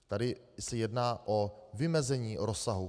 Tady se jedná o vymezení rozsahu.